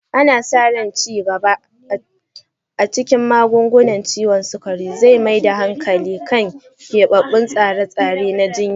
Ana sa ran ci gaban gaba a cikin magungunan ciwon sukari zai mai da hankali kan keɓaɓɓun tsare-tsare na jinya.